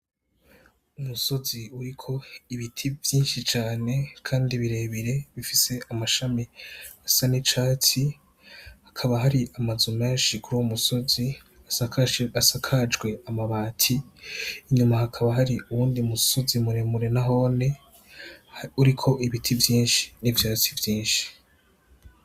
Umusozi uriko ibiti vyinshi cane kandi birebire bifise amashami asa nicatsi hakaba hari amazu menshi kuri uwo musozi asakajwe amabati inyuma hakaba hari uwundi musozi muremure nahone uriko ibiti vyinshi n'ivyatsi vyinshi.